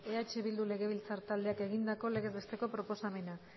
eh bildu legebiltzar taldeak egindako legez besteko proposamena